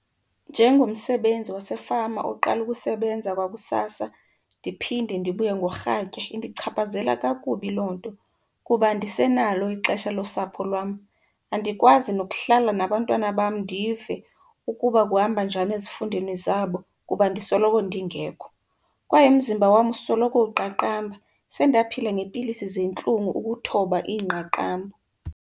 Njengomsebenzi wasefama oqala ukusebenza kwakusasa ndiphinde ndibuye ngorhatya, indichaphazela kakubi loo nto kuba andisenalo ixesha losapho lwam. Andikwazi nokuhlala nabantwana bam ndive ukuba kuhamba njani ezifundweni zabo kuba ndisoloko ndingekho. Kwaye umzimba wam usoloko uqaqamba, sendaphila ngeepilisi zeentlungu ukuthoba iingqaqambo.